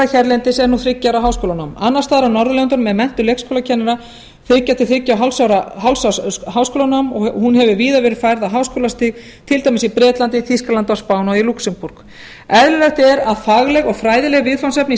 hérlendis er nú þriggja ára háskólanám annars staðar á norðurlöndunum er menntum leikskólakennara þriggja til þriggja og hálfs árs háskólanám hún hefur víða verið færð á háskólastig til dæmis í bretlandi þýskalandi spáni og í lúxemborg eðlilegt er að fagleg og fræðileg viðfangsefni í